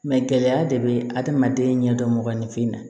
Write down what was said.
gɛlɛya de bɛ adamaden ɲɛdɔn mɔgɔninfin na